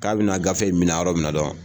K'a bɛna gafe in minɛ yɔrɔ min na dɔrɔnw